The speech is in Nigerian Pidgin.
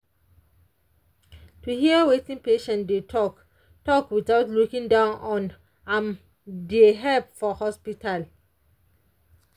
to hear wetin patient dey talk talk without looking down on am dey help for hospital.